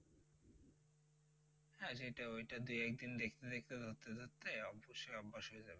হ্যাঁ সেটা ওইটা দুই একদিন দেখতে দেখতে ধরতে ধরতে অবশ্যই অভ্যাস হয়ে যাবে।